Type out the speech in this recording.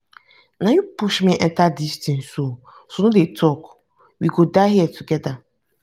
na you push me enter dis thing so no dey talk. we go die here together.